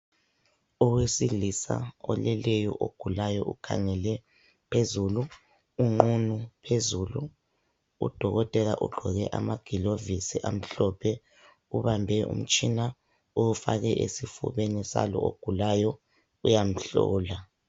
Owesilisa oleleyo ogulayo ukhangele phezulu. Unqunu phezulu. Udokotela ugqoke amagilovisi amhlophe, ubambe umtshina uwufake esifubeni salo ogulayo, uyamhlola.